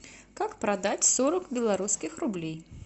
как продать сорок белорусских рублей